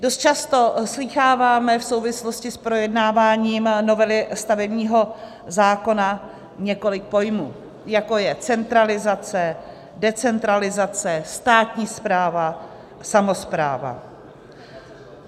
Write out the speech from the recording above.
Dost často slýcháváme v souvislosti s projednáváním novely stavebního zákona několik pojmů, jako je centralizace, decentralizace, státní správa, samospráva.